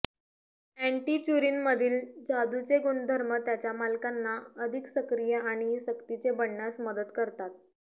अॅन्टीच्युरिनमधील जादूचे गुणधर्म त्यांच्या मालकांना अधिक सक्रिय आणि सक्तीचे बनण्यास मदत करतात